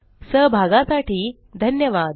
सहभागासाठी धन्यवाद